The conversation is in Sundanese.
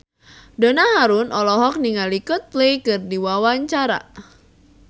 Donna Harun olohok ningali Coldplay keur diwawancara